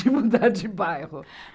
de mudar de bairro.